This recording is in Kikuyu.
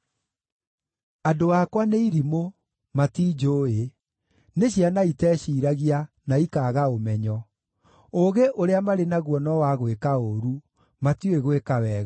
“Andũ akwa nĩ irimũ; matinjũũĩ. Nĩ ciana iteciiragia, na ikaaga ũmenyo. Ũũgĩ ũrĩa marĩ naguo no wa gwĩka ũũru; matiũĩ gwĩka wega.”